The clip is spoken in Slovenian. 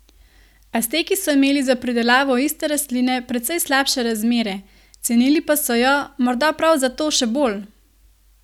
Azteki so imeli za pridelavo iste rastline precej slabše razmere, cenili pa so jo, morda prav zato, še bolj!